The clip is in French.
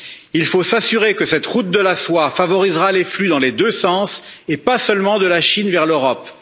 Il faut s'assurer que cette route de la soie favorisera les flux dans les deux sens, et pas seulement de la Chine vers l'Europe.